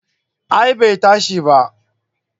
A'a bai tashi ba